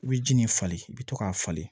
I bɛ ji nin falen i bɛ to k'a falen